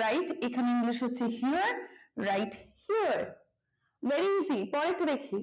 right এখানে english হচ্ছে here write here very easy পরেরটা দেখি